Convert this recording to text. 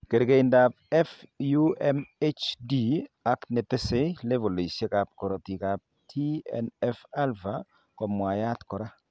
Kerkeindab FUMHD ak netesee levolisiek ab korotik ab TNF alpha komwaiyaat koraa